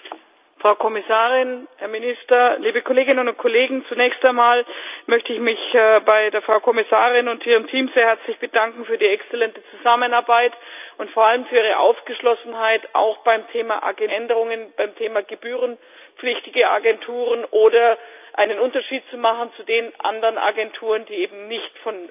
Herr Präsident, Frau Kommissarin, Herr Minister, liebe Kolleginnen und Kollegen! Zunächst einmal möchte ich mich bei der Frau Kommissarin und ihrem Team sehr herzlich für die exzellente Zusammenarbeit bedanken und vor allem für ihre Aufgeschlossenheit, auch beim Thema Agenturen wesentliche Änderungen beim Thema gebührenpflichtige Agenturen oder dafür, einen Unterschied zu machen zu den anderen Agenturen, die eben nicht